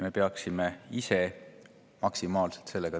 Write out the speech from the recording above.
Me peaksime ise sellega maksimaalselt tegelema.